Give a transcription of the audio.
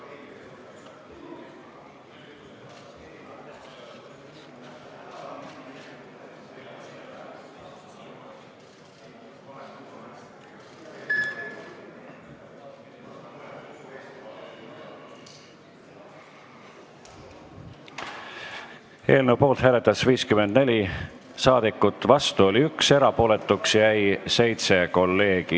Hääletustulemused Eelnõu poolt hääletas 54, vastu oli 1 ja erapooletuks jäi 7 kolleegi.